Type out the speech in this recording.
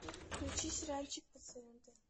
включи сериальчик пациенты